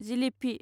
जिलिफि